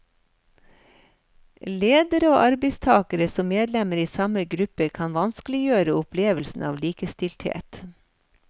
Ledere og arbeidstakere som medlemmer i samme gruppe kan vanskeliggjøre opplevelsen av likestilthet.